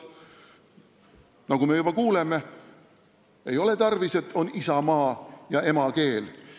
Nagu me juba kuuleme, ei ole tarvis seda, et meil on isamaa ja emakeel.